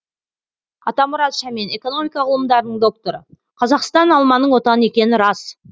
атамұрат шәмен экономика ғылымдарының докторы қазақстан алманың отаны екені рас